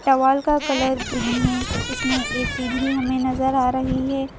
Towel का colour green है इसमें ऐ_सी भी हमें नजर आ रही है।